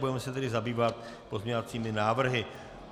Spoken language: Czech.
Budeme se tedy zabývat pozměňovacími návrhy.